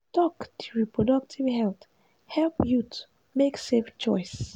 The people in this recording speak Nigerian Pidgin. talk di reproductive health help youth make safe choice.